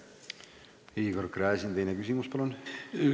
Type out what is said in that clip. Igor Gräzin, teine küsimus, palun!